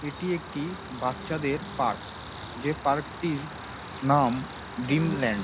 এইটি একটি বাচ্চাদের পার্ক | যেই পার্ক -টির নাম ড্রিমল্যান্ড ।